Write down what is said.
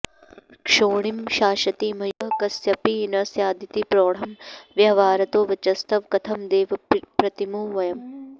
क्षोणीं शासति मय्युपद्रवलवः कस्यापि न स्यादिति प्रौढं व्याहरतो वचस्तव कथं देव प्रतीमो वयम्